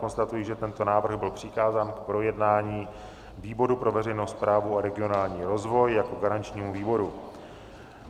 Konstatuji, že tento návrh byl přikázán k projednání výboru pro veřejnou správu a regionální rozvoj jako garančnímu výboru.